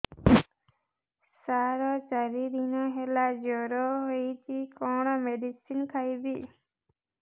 ସାର ଚାରି ଦିନ ହେଲା ଜ୍ଵର ହେଇଚି କଣ ମେଡିସିନ ଖାଇବି